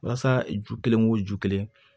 Walasa ju kelen o ju kelen